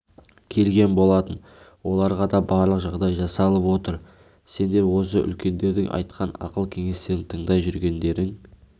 келген болатын оларға да барлық жағдай жасалып отыр сендер осы үлкендердің айтқан ақыл-кеңестерін тыңдай жүргендерің